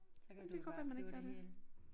Det kan godt være man ikke gør det